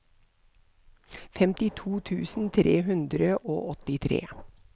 femtito tusen tre hundre og åttitre